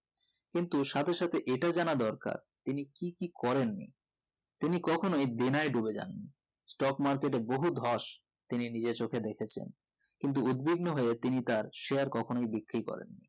কিন্তু সাথে সাথে এটা জানা দরকার তিনি কি কি করেন নি তিনি কখনোই দেনায় ডুবে যাননি stock market এ বহু ধস তিনি নিজের চোখে দেখেছেন কিন্তু উদবিগ্ন হয়ে তিনি তার share কখনোই বিক্রি করেন নি